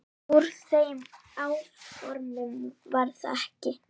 Úr þeim áformum varð ekki.